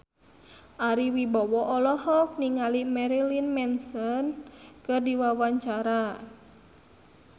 Ari Wibowo olohok ningali Marilyn Manson keur diwawancara